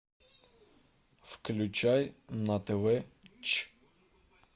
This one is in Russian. включай на тв ч